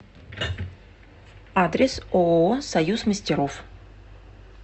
адрес ооо союз мастеров